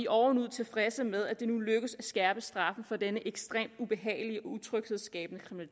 ovenud tilfredse med at det nu lykkes at skærpe straffen for denne ekstremt ubehagelige og utryghedsskabende